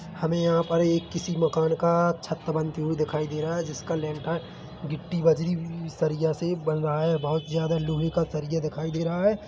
हमे यहाँ पर एक किसी मकान का छत बनती हुई दिखाई दे रहा है जिसकी लेंठा गिट्टी बजरी सरिया से बन रहा है बोहत ज़्यादा लोहे का सरिया दिखाई दे रहा है।